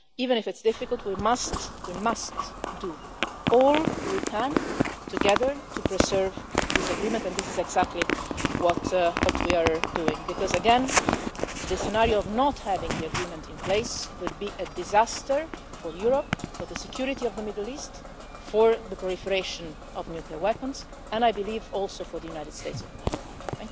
Even if it's difficult, we must we must do all we can together to preserve this agreement, and this is exactly what we are doing because, again, the scenario of not having the agreement in place would be a disaster for Europe, for the security of the Middle East, for the proliferation of nuclear weapons, and I believe also for the United States of America.